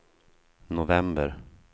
november